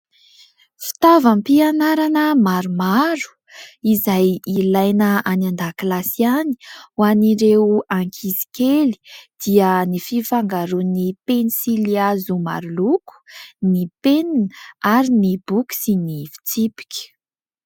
Fitaovam-pianarana maromaro, izay ilaina any an-dakilasy any, ho an'ireo ankizy kely. Dia ny fifangaroan'ny pensily hazo maroloko, ny penina ary ny boky sy ny fitsipika.